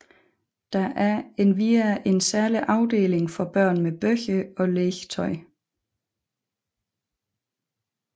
Der er endvidere en særlig afdeling for børn med bøger og legetøj